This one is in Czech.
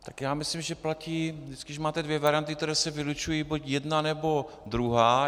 Tak já myslím, že platí vždy, když máte dvě varianty, které se vylučují, buď jedna, nebo druhá.